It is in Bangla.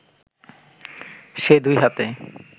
সে দুই হাতে